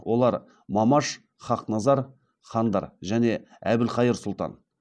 олар мамаш хақназар хандар және әбілқайыр сұлтан